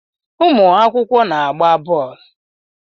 Ụmụakwụkwọ na-agba boolu